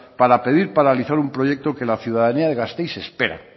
para pedir paralizar un proyecto que la ciudadanía de gasteiz espera